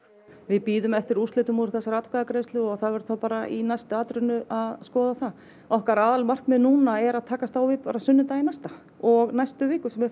við bíðum eftir úrslitum úr þessari atkvæðagreiðslu og það verður þá bara í næstu atrennu að skoða það okkar aðalmarkmið núna er að takast á við sunnudaginn næsta og næstu vikur sem eru